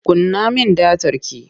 Kunna min datar ki!